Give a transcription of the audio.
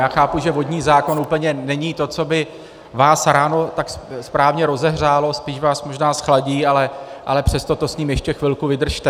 Já chápu, že vodní zákon úplně není to, co by vás ráno tak správně rozehřálo, spíš vás možná zchladí, ale přesto to s ním ještě chvilku vydržte.